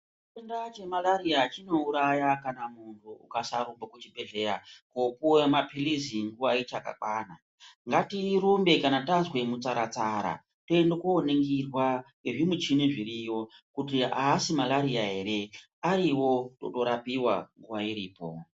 Chitenda chemarariya chinouraya kana muntu ukasarumbe kuchibhedhlera kopiwe maphirizi, nguwa ichakakwana. Ngatirumbe kana tazwa mutsaratsara tiende koningirwa ngezvimichini zviriyo kuti aasimarariya here. Ariwo totorapiwa nguwa iripo.